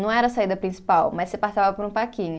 Não era a saída principal, mas você passava por um parquinho.